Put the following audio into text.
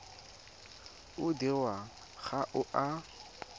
o dirwang ga o a